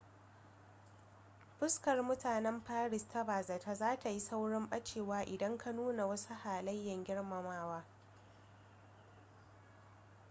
fuskar mutanen paris ta bazata za ta yi saurin ɓacewa idan ka nuna wasu halayen girmamawa